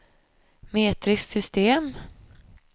metriskt system